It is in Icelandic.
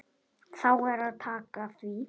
Þá er að taka því.